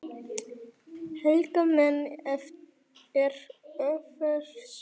Helga menn, er fjötrar spenna